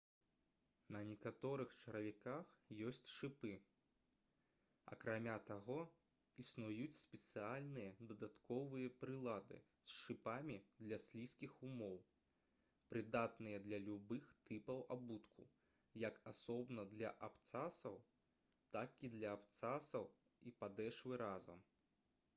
на некаторых чаравіках ёсць шыпы акрамя таго існуюць спецыяльныя дадатковыя прылады з шыпамі для слізкіх умоў прыдатныя для любых тыпаў абутку як асобна для абцасаў так і для абцасаў і падэшвы разам